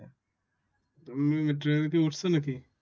তুমি metro rail এতে উঠেছ নাকি?